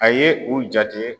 A ye u jate